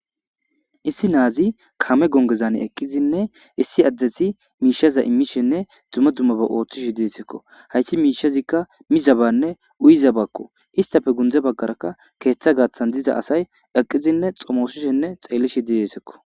Issi naazi kame gongezane eqqizinne issi addeti miishaza immishenne dzumma dzummaba ooththish diesekko hayti miishazikka mizabanne uyizabakko istafe gundze baggarakka keeththa gaaththan diza asay eqqizinne xomoosishenne xeellishi didesekko.